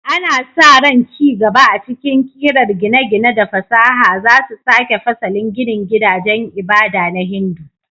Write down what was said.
Ana sa ran ci gaba a cikin ƙirar gine-gine da fasaha za su sake fasalin ginin gidajen ibada na Hindu.